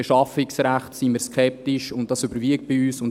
Beschaffungsrecht sind wir skeptisch, und das überwiegt bei uns.